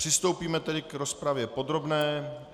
Přistoupíme tedy k rozpravě podrobné.